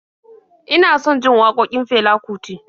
Ina son jin waƙokin Fela Kuti